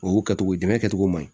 O y'o kɛcogo dɛmɛ kɛcogo man ɲi